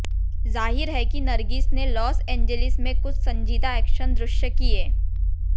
जाहिर है कि नरगिस ने लॉस एंजेलिस में कुछ संजीदा एक्शन दृश्य किए